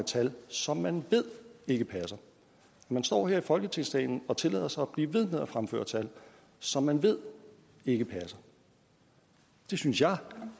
tal som man ved ikke passer man står her i folketingssalen og tillader sig at blive ved med at fremføre tal som man ved ikke passer det synes jeg